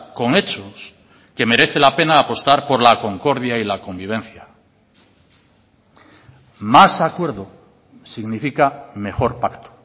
con hechos que merece la pena apostar por la concordia y la convivencia más acuerdo significa mejor pacto